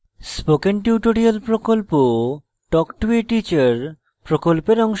spoken tutorial প্রকল্প talk to a teacher প্রকল্পের অংশবিশেষ